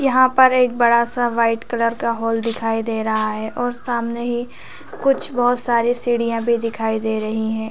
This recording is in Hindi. यहाँ पर एक बड़ा सा वाइट कलर का हॉल दिखाई दे रहा है और सामने ही कुछ बहोत सारी सीढ़ियां भी दिखाई दे रही है।